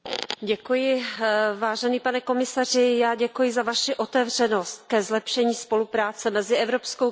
Pane komisaři, já děkuji za Vaši otevřenost ke zlepšení spolupráce mezi Evropskou komisí a Evropským parlamentem.